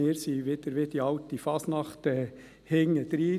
Wir sind wieder wie die alte Fasnacht hintendrein.